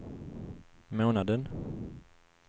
månaden